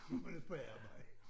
Når man er på arbejde